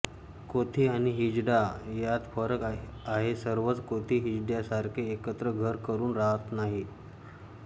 कोथी आणि हिजडा यांत फरक आहे सर्वच कोथी हिजड्यांसारखे एकत्र घर करुन राहात नाहीत